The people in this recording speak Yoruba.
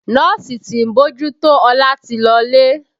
Nọ́ọ̀sì tí ń bójú tó Ọlá ti lọlé